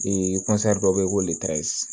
dɔ bɛ yen ko